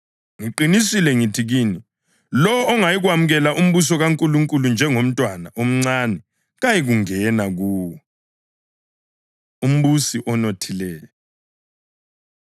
Ngiqinisile ngithi kini, lowo ongayikwemukela umbuso kaNkulunkulu njengomntwana omncane kayikungena kuwo.” Umbusi Onothileyo